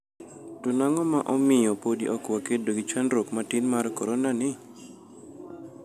To nang'o ma omiyo podi ok wakedo gi chandruok matin mar koronani?"